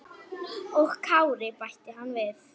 Og Kári, bætti hann við.